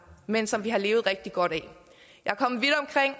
men som vi har levet rigtig godt af jeg kom vidt omkring